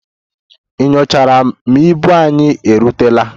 Ị nyochara ma ibu anyị erutela?